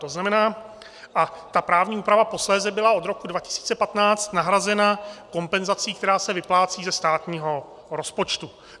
To znamená - a ta právní úprava posléze byla od roku 2015 nahrazena kompenzací, která se vyplácí ze státního rozpočtu.